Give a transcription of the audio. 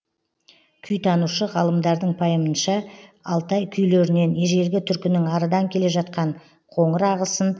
күйтанушы ғалымдардың пайымынша алтай күйлерінен ежелі түркінің арыдан келе жатқан қоңыр ағысын